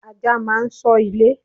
Ajá máa ń ṣọ́ ilé.